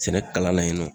Sɛnɛ kalan na yen nɔ